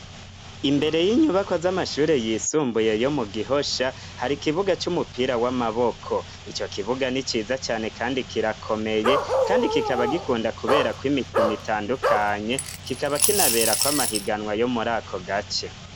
Imbere y'inyubakwa z'amashure yisumbuye yo mu Gihosha, hari kibuga c'umupira w'amaboko, ico kibuga ni ciza cane kandi kirakomeye, kandi kikaba gikunda kuberako imikino itandukanye, kikaba kinaberako amahiganwa yo muri ako gace.